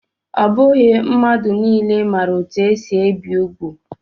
Ọ bụghị mmadụ niile ma etu esi ebi úgwù.